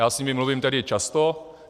Já s nimi mluvím tedy často.